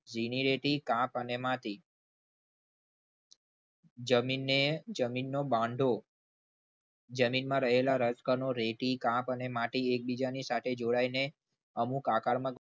ભીની રેતી કાપ અને માટી જમીનને જમીનનો બાંધો જમીનમાં રહેલા રજકણો રેતી કામ અને માટે એકબીજાની સાથે જોડાઈને અમુક આકારમાં